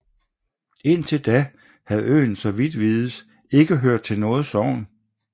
Indtil da havde øen så vidt vides ikke hørt til noget sogn